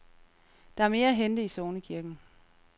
Der er mere at hente i sognekirken.